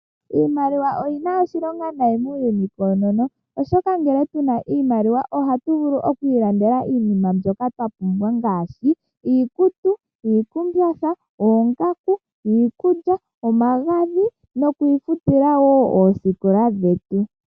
Iimaliwa oyina oshilonga nkene yilipo koonono oshoka ngele yili po ohatu vulu okwiilandela iinima mbyoka twa pumbwa ngaashi iikutu, iikumbatha, oongaku, iikulya, omagadhi nokwiifutila wo osikola dhetu.